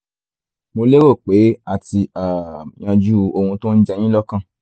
mo lérò pé a ti um yanjú ohun tó ń jẹ yín lọ́kàn